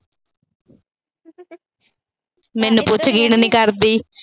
ਮੈਨੂੰ ਪੁੱਛ ਨੀ ਕਰਦੀ।